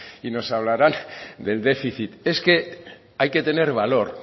y nos hablarán del déficit es que hay que tener valor